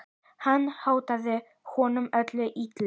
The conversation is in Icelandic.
Hann hótaði honum öllu illu.